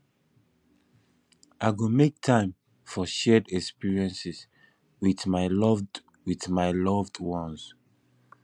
i go make time for shared experiences with my loved with my loved ones